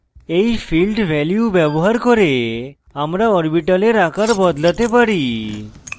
এই field value ব্যবহার করে আমরা orbital আকার বদলাতে vary